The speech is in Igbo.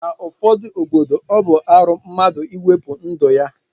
Na ụfọdu obodo ọbu arụ mmadu iwepu ndu ya